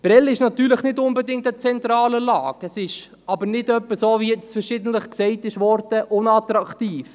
Natürlich ist Prêles nicht unbedingt an einer zentralen Lage, es ist jedoch nicht etwa – so, wie nun verschiedentlich gesagt worden ist –, unattraktiv.